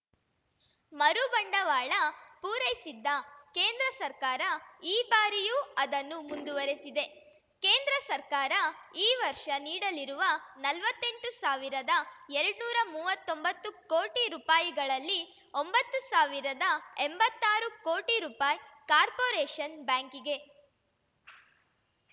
ಮರುಬಂಡವಾಳ ಪೂರೈಸಿದ್ದ ಕೇಂದ್ರ ಸರ್ಕಾರ ಈ ಬಾರಿಯೂ ಅದನ್ನು ಮುಂದುವರೆಸಿದೆ ಕೇಂದ್ರ ಸರ್ಕಾರ ಈ ವರ್ಷ ನೀಡಲಿರುವ ನಲ್ವತ್ತೆಂಟು ಸಾವಿರದಎರಡ್ ನೂರಾ ಮುವ್ವತ್ತೊಂಬತ್ತು ಕೋಟಿ ರುಪಾಯಿಗಳಲ್ಲಿ ಒಂಬತ್ತು ಸಾವಿರದ ಎಂಬತ್ತಾರು ಕೋಟಿ ರುಪಾಯಿ ಕಾರ್ಪೊರೇಷನ್‌ ಬ್ಯಾಂಕಿಗೆ